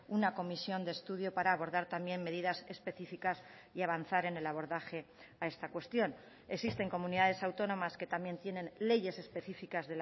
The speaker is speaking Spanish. una comisión de estudio para abordar también medidas especificas y avanzar en el abordaje a esta cuestión existen comunidades autónomas que también tienen leyes específicas